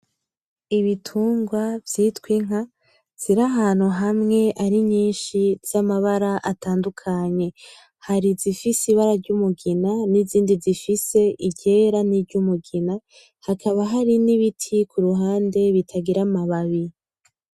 Ibitungwa vyitwa inka ziri ahantu hamwe ari nyishi z’amabara atandukanye hari izifise ibara ry’umugina nizindi zifise iryera ni ry’umugina hakaba hari nibiti kuruhande bitagira ama babi